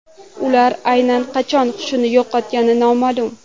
Ular aynan qachon xushini yo‘qotgani noma’lum.